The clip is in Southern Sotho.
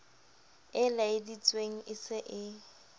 e laeleditsweng e se e